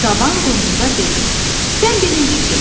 Qaban qunduza dedi: "Sən birinci keç.